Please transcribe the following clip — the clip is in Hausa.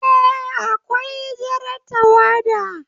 Eh, Akwai Jar tawada